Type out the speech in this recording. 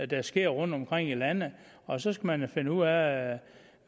der sker rundtomkring i landet og så skal man finde ud af